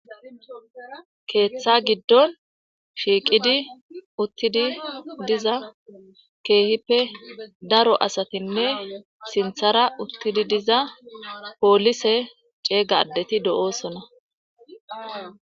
Keeththa giddon shiiqidi uttidi diza keehippe daro asatinne sinthara uttidi diza poolise ceegaddeti do'oosona